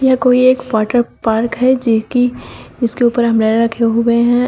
ये कोई एक वाटर पार्क है जिहकी जिसके ऊपर अंब्रेला रखे हुए है।